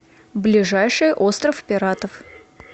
ближайший остров пиратов